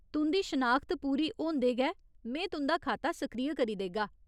तुं'दी शनाखत पूरी होंदे गै में तुं'दा खाता सक्रिय करी देगा।